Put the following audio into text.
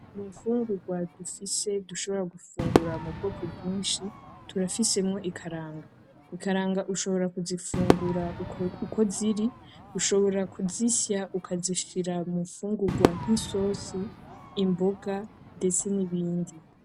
Mu mfungugwa dufise dushobora gufungura mu bwoko bwinshi, turafisemwo ikaranga. Ikaranga ushobora kuzifungura uko ziri, ushobora kuzisya ukazishira mu mfungurwa nk'isosi, imboga ndetse n'ibindi.